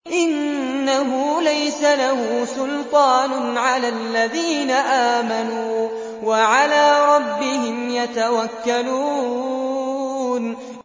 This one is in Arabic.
إِنَّهُ لَيْسَ لَهُ سُلْطَانٌ عَلَى الَّذِينَ آمَنُوا وَعَلَىٰ رَبِّهِمْ يَتَوَكَّلُونَ